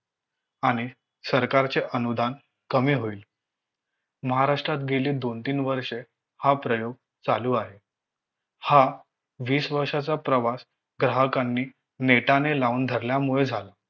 आणि सरकारचे अनुदान कमी होईल महाराष्ट्रात गेले दोन तीन वर्ष हा प्रयोग चालू आहे हा वीस वर्षाचा प्रवास ग्राहकांनी नेटाने लावून धरल्यामुळे झाला